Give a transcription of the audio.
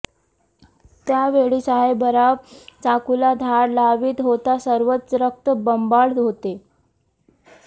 त्यावेळी साहेबराव चाकुला धार लावीत होता सर्वत्र रक्त बंबाळ होते